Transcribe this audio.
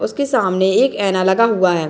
उसके सामने एक ऐना लगा हुआ है।